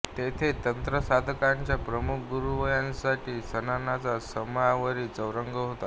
तेथे तंत्रसाधकांच्या प्रमुख गुरुवर्यांसाठी स्नानाचा संगमरवरी चौरंग होता